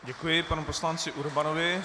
Děkuji panu poslanci Urbanovi.